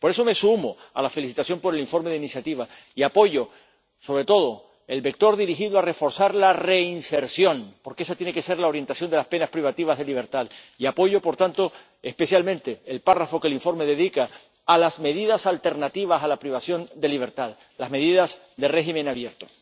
Por eso me sumo a la felicitación por el informe de iniciativa y apoyo, sobre todo, el vector dirigido a reforzar la reinserción, porque esta tiene que ser la orientación de las penas privativas de libertad, y apoyo, por tanto, especialmente, el párrafo que el informe dedica a las medidas alternativas a la privación de libertad las medidas de régimen abierto.